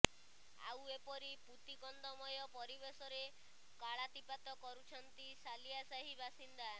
ଆଉ ଏପରି ପୂତିଗନ୍ଧମୟ ପରିବେଶରେ କାଳାତିପାତ କରୁଛନ୍ତି ସାଲିଆସାହି ବାସିନ୍ଦା